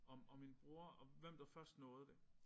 Og og min bror og hvem der først nåede det